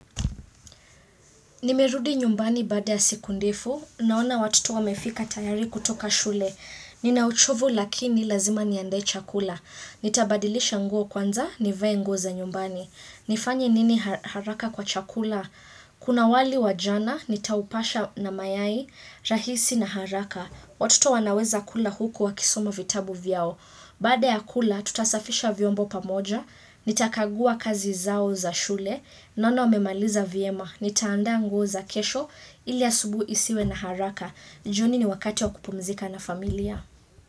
Nimerudi nyumbani baada ya siku ndefu, naona watoto wamefika tayari kutoka shule. Ninauchovu lakini lazima niandae chakula. Nitabadilisha nguo kwanza, nivae nguo za nyumbani. Nifanye nini ha haraka kwa chakula? Kuna wali wa jana, nitaupasha na mayai, rahisi na haraka. Watoto wanaweza kula huko wakisoma vitabu vyao. Baada ya kula, tutasafisha vyombo pamoja, nitakagua kazi zao za shule, Naono wamemaliza vyema. Nitaanda nguo za kesho, ili asubuhi isiwe na haraka. Juni ni wakati wa kupumzika na familia.